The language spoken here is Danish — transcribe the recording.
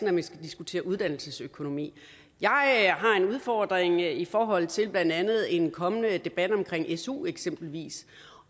at man skal diskutere uddannelsessøkonomi jeg har en udfordring i forhold til blandt andet en kommende debat omkring su eksempelvis